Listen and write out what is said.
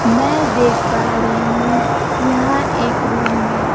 मैं देख पा रही हूं यहां एक रुम में--